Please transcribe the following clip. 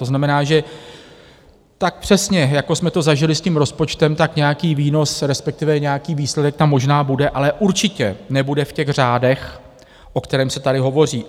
To znamená, že tak přesně, jako jsme to zažili s tím rozpočtem, tak nějaký výnos respektive nějaký výsledek tam možná bude, ale určitě nebude v těch řádech, o kterých se tady hovoří.